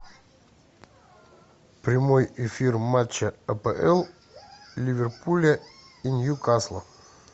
прямой эфир матча апл ливерпуля и ньюкасла